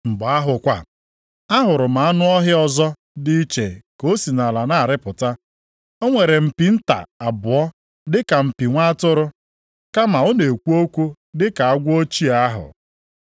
Mgbe ahụ kwa, ahụrụ m anụ ọhịa ọzọ dị iche ka o si nʼala na-arịpụta. O nwere mpi nta abụọ dịka mpi Nwa atụrụ, kama ọ na-ekwu okwu dịka agwọ ochie ahụ.